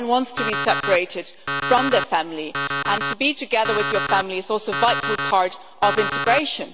No one wants to be separated from their family, and to be together with your family is also a vital part of integration.